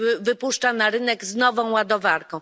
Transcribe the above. wypuszcza na rynek z nową ładowarką.